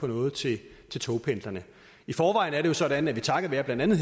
noget til togpendlerne i forvejen er det jo sådan at vi takket være blandt andet